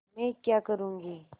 मैं क्या करूँगी